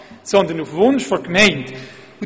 Diese erfolgt vielmehr auf Wunsch der Gemeinde.